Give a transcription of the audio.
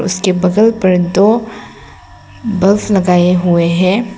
उसके बगल पर दो बल्ब लगाए हुए हैं।